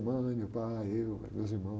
Minha mãe, meu pai, eu, meus irmãos.